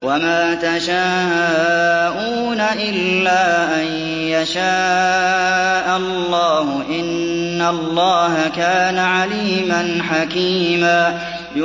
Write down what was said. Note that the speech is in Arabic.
وَمَا تَشَاءُونَ إِلَّا أَن يَشَاءَ اللَّهُ ۚ إِنَّ اللَّهَ كَانَ عَلِيمًا حَكِيمًا